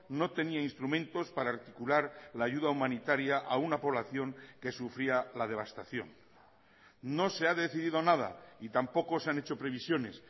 no tenía instrumentos para articular la ayuda humanitaria a una población que sufría la devastación no se ha decidido nada y tampoco se han hecho previsiones